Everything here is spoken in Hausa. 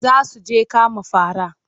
Za su je kama fara.